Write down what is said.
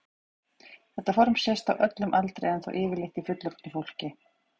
Þetta form sést á öllum aldri en þó yfirleitt í fullorðnu fólki.